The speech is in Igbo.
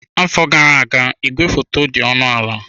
Afọ gara aga igwefoto dị ọnụ ala.